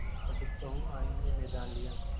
अब सहुआइन ने मैदान लिया